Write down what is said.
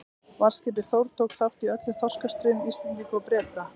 Varðskipið Þór tók þátt í öllum þorskastríðum Íslendinga og Breta.